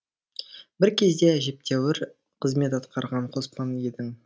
бір кезде әжептәуір қызмет атқарған қоспан едің